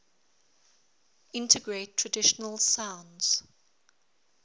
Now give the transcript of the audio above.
integrate traditional sounds